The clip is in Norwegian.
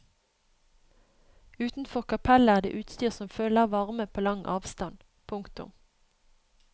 Utenfor kapellet er det utstyr som føler varme på lang avstand. punktum